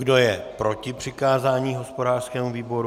Kdo je proti přikázání hospodářskému výboru?